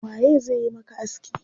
Waye zai yi maka aski?